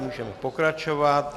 Můžeme pokračovat.